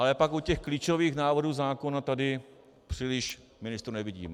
Ale pak u těch klíčových návrhů zákona tady příliš ministrů nevidím.